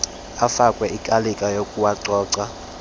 afakwe ikalika yokuwacoca